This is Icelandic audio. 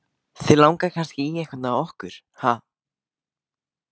Þig langar kannski í einhvern af okkur, ha?